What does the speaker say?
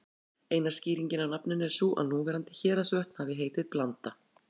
Eina skýringin á nafninu er sú að núverandi Héraðsvötn hafi heitið Blanda.